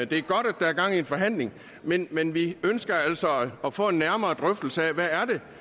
det er godt at der er gang i en forhandling men men vi ønsker altså at få en nærmere drøftelse af hvad